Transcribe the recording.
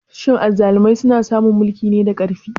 Shin azzalumai suna samun mulki ne da ƙarfi?